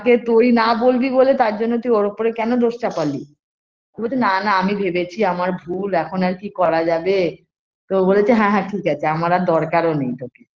আগে তুই না বলবি বলে তার জন্য তুই ওর ওপোরে কেনো দোষ চাপালি তো বলছে না না আমি ভেবেছি আমার ভুল এখন আর কি করা যাবে তো ও বলেছে হ্যাঁ হ্যাঁ ঠিক আছে এখন আমার আর দরকারও নেই তোকে